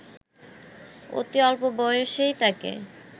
অতি অল্প বয়সেই তাকে